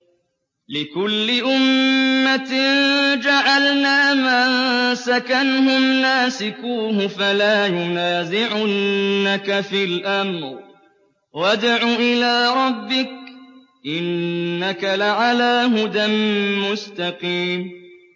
لِّكُلِّ أُمَّةٍ جَعَلْنَا مَنسَكًا هُمْ نَاسِكُوهُ ۖ فَلَا يُنَازِعُنَّكَ فِي الْأَمْرِ ۚ وَادْعُ إِلَىٰ رَبِّكَ ۖ إِنَّكَ لَعَلَىٰ هُدًى مُّسْتَقِيمٍ